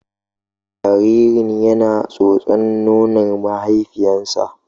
Jaririn yana tsotsar nonon mahaifiyarsa.